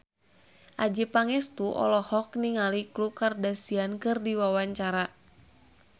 Adjie Pangestu olohok ningali Khloe Kardashian keur diwawancara